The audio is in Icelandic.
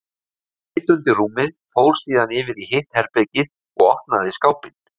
Hún leit undir rúmið, fór síðan yfir í hitt herbergið og opnaði skápinn.